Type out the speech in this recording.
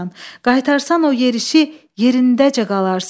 Qaytarsan o yerişi yerindəcə qalarsan.